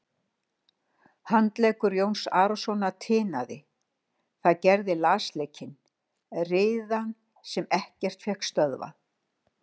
Handleggur Jóns Arasonar tinaði, það gerði lasleikinn, riðan sem ekkert fékk stöðvað.